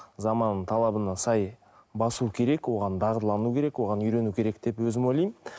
заманның талабына сай басу керек оған дағдылану керек оған үйрену керек деп өзім ойлаймын